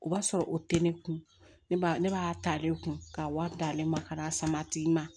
O b'a sɔrɔ o tɛ ne kun ne b'a ta ale kun k'a wari d'ale ma ka n'a sama a tigi ma